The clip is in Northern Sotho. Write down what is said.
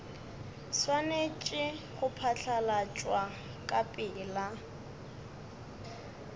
swanetše go phatlalatšwa ka pela